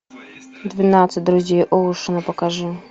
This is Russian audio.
двенадцать друзей оушена покажи